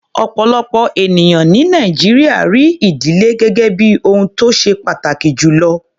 Ọ̀pọ̀lọpọ̀ ènìyàn ní Nàìjíríà rí ìdílé gẹ́gẹ́ bí ohun tó ṣe pàtàkì jù lọ.